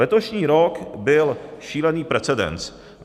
Letošní rok byl šílený precedens.